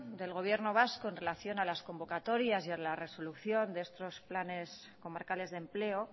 del gobierno vasco en relación a las convocatorias y a la resolución de estos planes comarcales de empleo